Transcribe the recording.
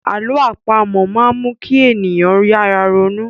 Àlọ́ àpamọ máa n mu kí ènìyàn yára ronú